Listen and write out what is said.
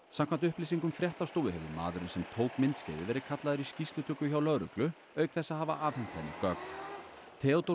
samkvæmt upplýsingum fréttastofu hefur maðurinn sem tók myndskeiðið verið kallaður í skýrslutöku hjá lögreglu auk þess að hafa afhent henni gögn Theodór